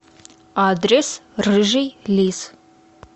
адрес рыжий лис